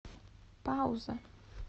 пауза